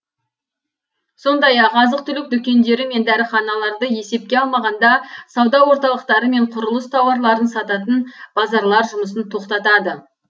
сондай ақ азық түлік дүкендері мен дәріханаларды есепке алмағанда сауда орталықтары мен құрылыс тауарларын сататын базарлар жұмысын тоқтатады